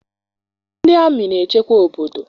NdỊ amị na-echekwa obodo